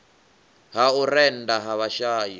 ha u rennda ha vhashai